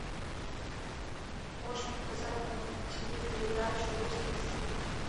можешь показать на тв передачу русский экстрим